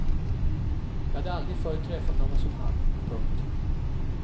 Jag hade aldrig förr träffat någon som han. punkt